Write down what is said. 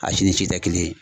A si ni si tɛ kelen ye